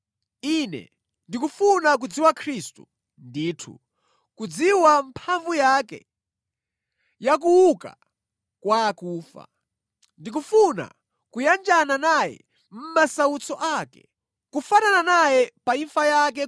Ine ndikufuna kudziwa Khristu, ndithu, kudziwa mphamvu zake za kuuka kwa akufa. Ndikufuna kuyanjana naye mʼmasautso ake, kufanana naye pa imfa yake